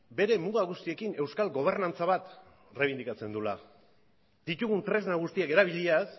bere muga guztiekin euskal gobernantza bat errebindikatzen duela ditugun tresna guztiak erabiliaz